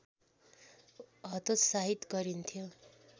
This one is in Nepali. हतोत्साहित गरिन्थ्यो